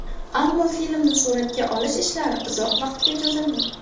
Ammo filmni suratga olish ishlari uzoq vaqtga cho‘zildi.